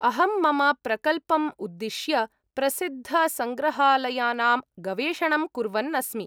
अहं मम प्रकल्पम् उद्दिश्य प्रसिद्धसङ्ग्रहालयानां गवेषणं कुर्वन् अस्मि।